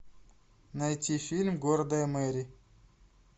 найти фильм гордая мэри